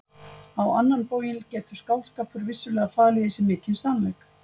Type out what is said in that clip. Á annan bóginn getur skáldskapur vissulega falið í sér mikinn sannleik.